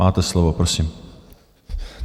Máte slovo, prosím.